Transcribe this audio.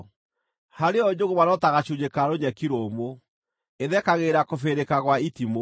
Harĩ yo njũgũma no ta gacunjĩ ka rũnyeki rũmũ; ĩthekagĩrĩra kũbĩrĩrĩka gwa itimũ.